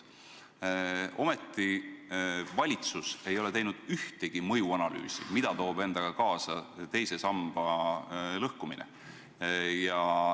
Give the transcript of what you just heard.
Ometi: valitsus ei ole teinud ühtegi mõjuanalüüsi, mida toob endaga kaasa teise samba lõhkumine.